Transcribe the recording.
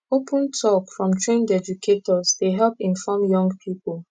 open talk from trained educators dey help inform young people